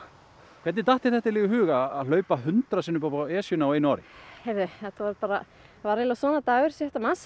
hvernig datt þér þetta í hug að hlaupa hundrað sinnum upp á Esjuna á einu ári það var svona dagur sjötta mars